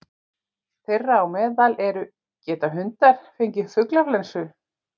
Þeirra á meðal eru: Geta hundar fengið fuglaflensu?